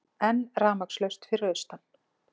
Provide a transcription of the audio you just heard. Enn rafmagnslaust fyrir austan